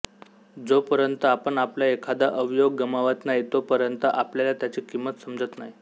जोपर्यंत आपण आपला एखाद अवयव गमावत नाही तोपर्यंत आपल्याला त्याची किंमत समजत नाही